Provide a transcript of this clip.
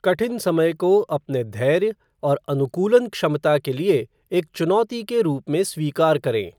कठिन समय को अपने धैर्य और अनुकूलन क्षमता के लिए एक चुनौती के रूप में स्वीकार करें।